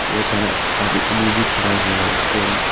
बहुत सारा आदमी भी खड़ा हुआ है उसके बाद--